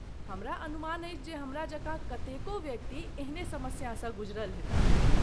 हमरा अनुमान अछि जे हमरा जकाँ कतेको व्यक्ति एहने समस्यासँ गुजरल हेताह।